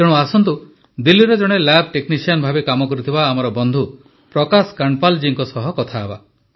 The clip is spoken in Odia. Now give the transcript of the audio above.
ତେଣୁ ଆସନ୍ତୁ ଦିଲ୍ଲୀର ଜଣେ ଲ୍ୟାବ୍ ଟେକ୍ନିସିଆନ୍ ଭାବେ କାମ କରୁଥିବା ଆମର ବନ୍ଧୁ ପ୍ରକାଶ କାଣ୍ଡପାଲ୍ ଜୀଙ୍କ ସହ କଥା ହେବା